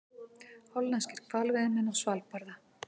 Hollenskir hvalveiðimenn á Svalbarða.